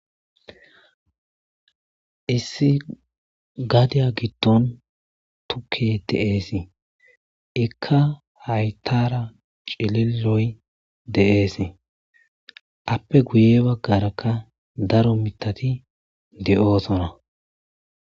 Issi gadiya giddon tukkey de'esi; iikka hayttara cililoy de'esi; appe guye baggaraka daro mittati de'osonna.